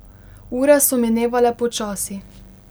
Ure so minevale počasi.